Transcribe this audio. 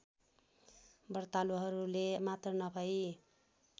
व्रतालुहरूले मात्र नभई